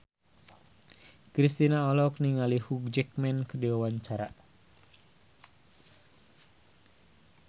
Kristina olohok ningali Hugh Jackman keur diwawancara